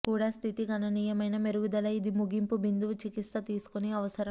కూడా స్థితి గణనీయమైన మెరుగుదల ఇది ముగింపు బిందువు చికిత్స తీసుకుని అవసరం